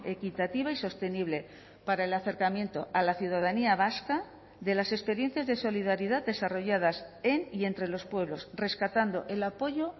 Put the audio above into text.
equitativa y sostenible para el acercamiento a la ciudadanía vasca de las experiencias de solidaridad desarrolladas en y entre los pueblos rescatando el apoyo